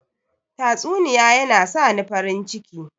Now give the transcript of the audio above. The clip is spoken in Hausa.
Tatsuniya yana sani farin ciki.